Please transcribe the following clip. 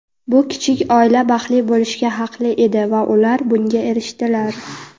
Bu kichik oila baxtli bo‘lishga haqli edi va ular bunga erishdilar.